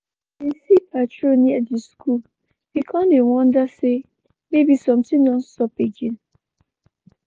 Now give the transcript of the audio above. we bin see patrol near di skul we kon dey wonder sey maybe somtin don sup again.